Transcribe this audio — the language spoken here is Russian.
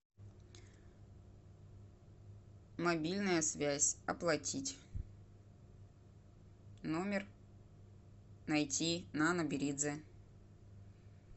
мобильная связь оплатить номер найти нана беридзе